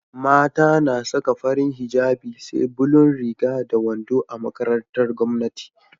Mata na Saka farin hijjabi SE bulun Riga da wando a makarantar gwamnati